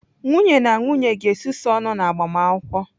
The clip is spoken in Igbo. Nwunye na nwunye ga-esusu ọnụ na agbamakwụkwọ.